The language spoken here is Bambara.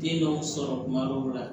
Den dɔw sɔrɔ kuma dɔw la